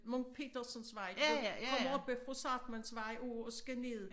Munk Petersens vej du ved kommer oppe fra Zahrtmannsvej og og skal ned